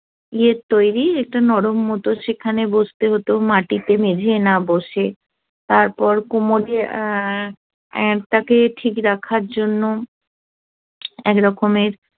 ই এর তৈরি মতো সেখানে বসতে হতো মাটিতে মেঝেই না বসে তারপর কোমরে তাকে ঠিক রাখার জন্য এক রকমের